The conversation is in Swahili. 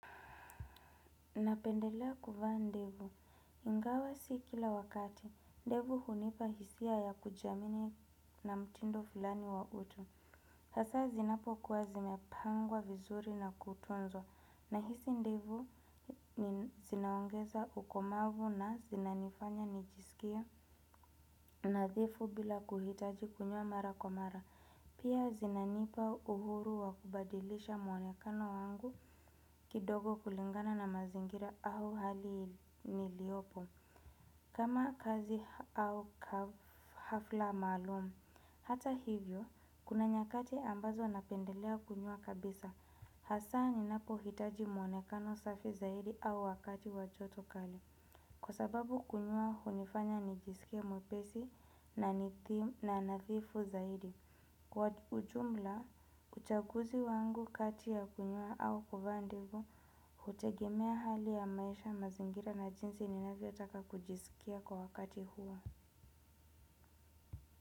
Napendelea kuvaa ndevu, ingawa si kila wakati. Ndevu hunipa hisia ya kujiamini na mtindo fulani wa utu, hasa zinapokuwa zimepangwa vizuri na kutunzwa. Na hizi ndevu ni zinaongeza ukomavu na zinanifanya nijisikie nadhifu bila kuhitaji kunyoa mara kwa mara. Pia zinanipa uhuru wa kubadilisha mwonekano wangu kidogo kulingana na mazingira au hali niliyopo. Kama kazi au hafla maalum, hata hivyo, kuna nyakati ambazo napendelea kunyoa kabisa. Hasa ninapohitaji mwonekano safi zaidi au wakati wa joto kali. Kwa sababu kunyoa hunifanya nijisikie mwepesi na nadhifu zaidi. Kwa ujumla, uchaguzi wangu kati ya kunyoa au kuvaa ndevu hutegemea hali ya maisha, mazingira na jinsi ninavyotaka kujisikia kwa wakati huo.